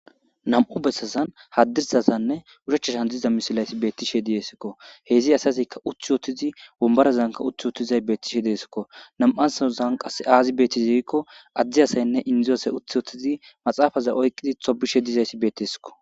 2 besazan hadirsazaninne oshichazan diza misilez betishe de'esko. He's asazika uti utid wombarazanka uti utidays betishe de'esko ,2thozan qase azi beteize gikon Indo asinne Ade asat uti utid maxafeza oykid tobishe dizays betesko.